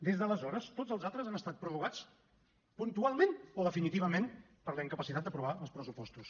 des d’aleshores tots els altres han estat prorrogats puntualment o definitivament per la incapacitat d’aprovar els pressupostos